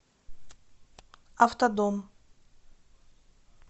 автодом